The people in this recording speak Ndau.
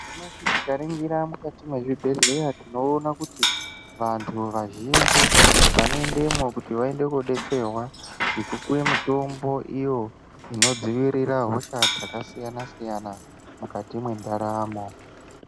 Nyamashi tikaringira mukati mwezvibhehleya tinoona kuti vantu vazhinji vanoendemwo kuti vaende kodetserwa ngekupuwe mitombo iyo inodzivirira hosha dzakasiyana -siyana mukati mwendaramo.